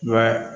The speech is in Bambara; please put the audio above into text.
Wa